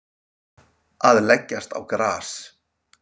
Að leggjast á gras